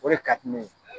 O de ka di ne ye